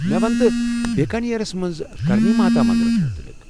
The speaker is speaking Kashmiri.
مےٚ ونتہٕ بیٖکانیرس منٛز کرنی ماتا منٛدرس متعلق۔